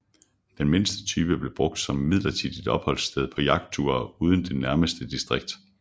Den mindste type blev brugt som midlertidigt opholdssted på jagtture uden det nærmeste distrikt